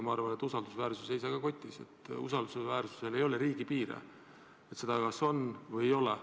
Ma arvan, et usaldusväärsus ei seisa ka kotis, ja et usaldusväärsusel ei ole riigipiire: seda kas on või ei ole.